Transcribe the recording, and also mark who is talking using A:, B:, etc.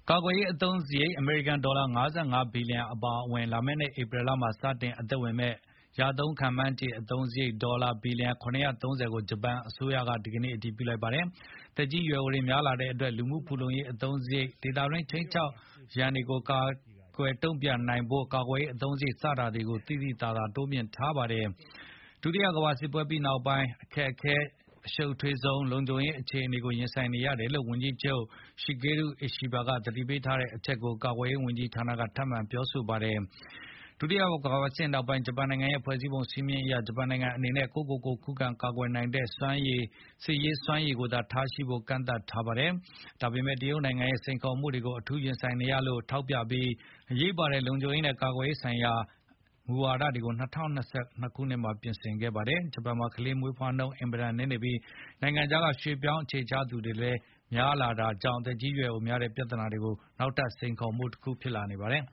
A: ကာကွယ်ရေးအသုံးစရိတ် အမေရိကန်ဒေါ်လာ ၅၅ ဘီလီယံအပါအဝင် လာမယ့်နှစ် ဧပြီလမှာ စတင် အသက်ဝင်မယ့် ရသုံးမှန်းခြေအသုံးစရိတ် ဒေါ်လာ ဘီလျံ ၇၃၀ ကို ဂျပန်အစိုးရက အတည်ပြု လိုက်တာ ဖြစ်ပါတယ်။ သက်ကြီးရွယ်အိုတွေများလာတဲ့အတွက် လူမှုဖူလုံရေးအသုံးစရိတ်၊ ဒေသတွင်း ခြိမ်းခြောက်ရန်တွေကို ကိုင်တွယ်တုံ့ပြန်ဖို့ ကာကွယ်ရေးအသုံးစရိတ် စတာတွေကို သိသိသာသာ တိုးမြှင့်ထားပါတယ်။ ဒုတိယကမ္ဘာစစ်ပွဲပြီးနောက်ပိုင်း အခက်ခဲ၊ အရှုပ်ထွေးဆုံး လုံခြုံရေးအခြေအနေ ရင်ဆိုင်နေရတယ်လို့ ဝန်ကြီးချုပ် Shigeru Ishiba သတိပေးထားတဲ့အချက်ကို ကာကွယ်ရေးဝန်ကြီးဌာနကလည်း ထပ်မံသတိပေး ပြောကြားခဲ့ပါတယ်။ဒုတိယကမ္ဘာစစ်နောက်ပိုင်း ဂျပန်နိုင်ငံရဲ့ဖွဲ့စည်းပုံစည်းမျဉ်းအရ ဂျပန်နိုင်ငံအနေနဲ့ ကိုယ့်ကိုကိုယ် ခုခံကာကွယ်နိုင်တဲ့ စစ်ရေးစွမ်းရည်သာထားရှိဖို့ ကန့်သတ်ထားတာပါ။ ဒါပေမဲ့ တရုတ်နိုင်ငံရဲ့ စိန်ခေါ်မှုတွေကို အထူးရင်ဆိုင်နေရတယ်လို့ ထောက်ပြပြီး အရေးပါတဲ့ လုံခြုံရေးနဲ့ ကာကွယ်ရေးဆိုင်ရာ အရေးပါတဲ့ မူဝါဒတွေကို ၂၀၂၂ ခုနှစ်မှာ ပြင်ဆင်ခဲ့ပါတယ်။ ဂျပန်မှာ ကလေးမွေးဖွားနှုန်း အင်မတန်နည်းနေပြီး နိုင်ငံခြားက ရွှေ့ပြောင်းအခြေချသူတွေကိုလည်း အင်မတန်သတိထားလက်ခံနေတာကြောင့် သက်ကြီးရွယ်အိုများလာတဲ့ ပြဿနာကလည်း နောက်ထပ် စိန်ခေါ်မှုတခုဖြစ်နေပါတယ်